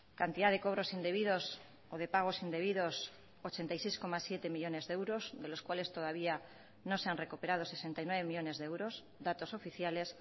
cantidad de cobros indebidos o de pagos indebidos ochenta y seis coma siete millónes de euros de los cuales todavía no se han recuperado sesenta y nueve millónes de euros datos oficiales